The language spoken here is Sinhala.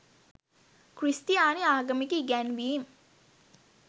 ක්‍රිස්තියානි ආගමික ඉගැන්වීම්